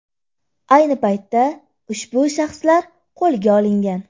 Ayni paytda ushbu shaxslar qo‘lga olingan.